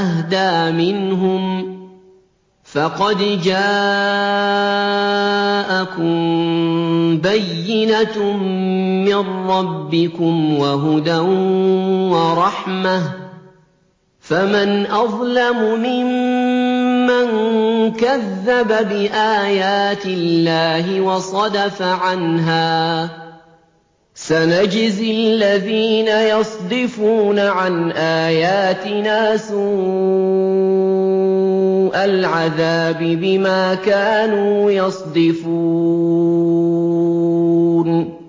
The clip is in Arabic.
أَهْدَىٰ مِنْهُمْ ۚ فَقَدْ جَاءَكُم بَيِّنَةٌ مِّن رَّبِّكُمْ وَهُدًى وَرَحْمَةٌ ۚ فَمَنْ أَظْلَمُ مِمَّن كَذَّبَ بِآيَاتِ اللَّهِ وَصَدَفَ عَنْهَا ۗ سَنَجْزِي الَّذِينَ يَصْدِفُونَ عَنْ آيَاتِنَا سُوءَ الْعَذَابِ بِمَا كَانُوا يَصْدِفُونَ